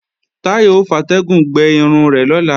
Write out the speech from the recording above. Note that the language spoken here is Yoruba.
Táyọ̀ ò fatẹ́gùn gbẹ irun rẹ̀ lọ́la